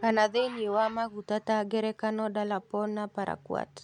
kana thĩinĩ wa maguta ta ngerekano Dalapon na Paraquat